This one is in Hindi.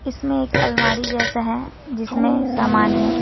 इसमें एक अलमारी जैसा है जिसमें सामान है।